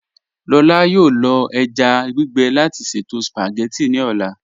Lọlá yọọ lọ èjá gbígbe láti ṣẹto spagétì ní ọlá.